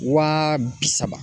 Waa bi saba.